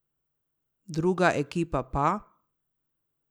Druga ekipa pa?